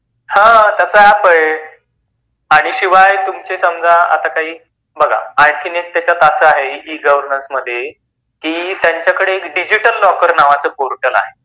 हां त्याच ऐप आहे आणि शिवाय तुमच आता काही बघा आणि त्याच्यात अस आहे इ-गवर्नन्स मध्ये की त्यांच्याकडे एक डिजिटल लॉकर नावाच पोर्टल आहे.